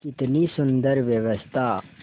कितनी सुंदर व्यवस्था